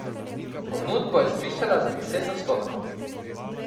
Ponudbo je zvišala za deset odstotkov.